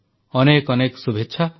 ଅନେକ ଅନେକ ଶୁଭେଚ୍ଛା